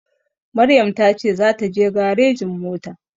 Maryam ta ce za ta je garejin mota